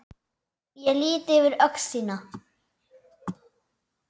Ég lýt yfir öxl þína.